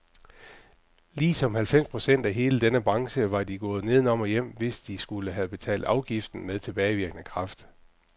Ligesom halvfems procent af hele denne branche var de gået nedenom og hjem, hvis de skulle have betalt afgiften med tilbagevirkende kraft.